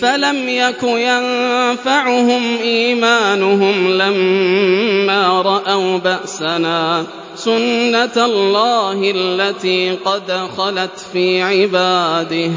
فَلَمْ يَكُ يَنفَعُهُمْ إِيمَانُهُمْ لَمَّا رَأَوْا بَأْسَنَا ۖ سُنَّتَ اللَّهِ الَّتِي قَدْ خَلَتْ فِي عِبَادِهِ ۖ